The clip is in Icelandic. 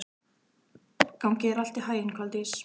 Gangi þér allt í haginn, Koldís.